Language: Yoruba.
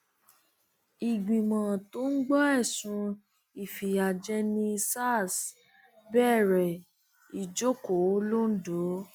ìgbìmọ tó ń gbọ ẹsùn ìfìyàjẹni sars bẹrẹ ìjókòó londo